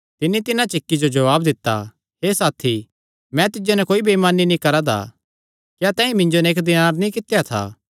तिन्नी तिन्हां च इक्की जो जवाब दित्ता हे साथी मैं तिज्जो नैं कोई बेइमानी नीं करा दा क्या तैंईं मिन्जो नैं इक्क दीनार नीं कित्या था